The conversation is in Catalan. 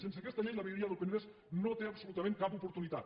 sense aquesta llei la vegueria del penedès no té absolutament cap oportunitat